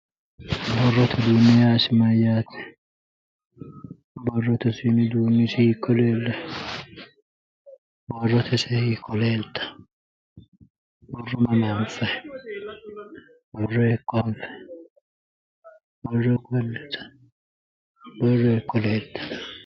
Borrote uduunne yaa isi mayaate borrote uduunni isi hiiko leellanno mama anfayi borro hiiko anfayi borro hiiko leelitanno